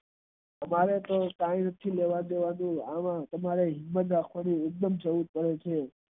અમારે તો science કાય લેવા દેવા નય અમારે તો હિંમત રાખવાની જરૂર પડે છે.